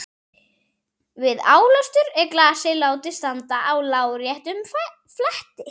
Við álestur er glasið látið standa á láréttum fleti.